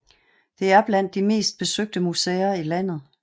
Det er blandt de mest besøgte museer i landet